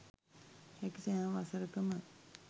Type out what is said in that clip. හැකි සෑම වසරකම